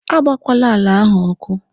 A gbakwala àlà áhù ọkụ!